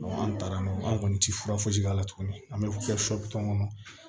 an taara n'o ye an kɔni tɛ fura foyi si k'a la tuguni an bɛ kɛ kɔnɔ